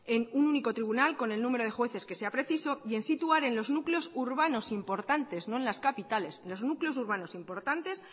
en un único tribunal con el número de jueces que sean precisas y situar en los núcleos urbanos importantes no en las capitales